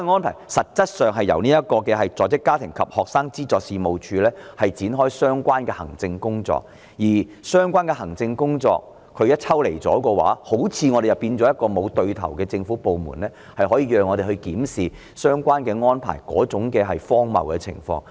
但是，實質上是由在職家庭及學生資助事務處進行有關安排的相關行政工作，而相關的行政工作一旦抽離，似乎便出現好像沒有一個對口的政府部門可讓我們檢視相關安排的荒謬情況。